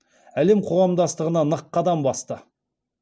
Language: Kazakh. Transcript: әлем қоғамдастығына нық қадам басты